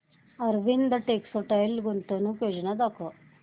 Arvind textile गुंतवणूक योजना दाखव